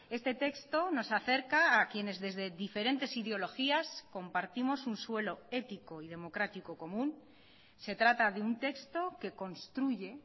este texto nos acerca a quienes desde diferentes ideologías compartimos un suelo ético y democrático común se trata de un texto que construye